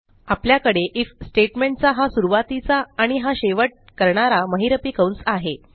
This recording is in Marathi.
आपल्याकडे आयएफ स्टेटमेंट चा हा सुरूवातीचा आणि हा शेवट करणारा महिरपी कंस आहे